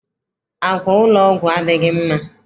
Àkwà ụlọ ọgwụ adịghị mma.